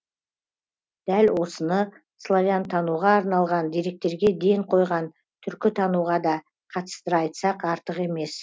дәл осыны славянтануға арналған деректерге ден қойған түркітануға да қатыстыра айтсақ артық емес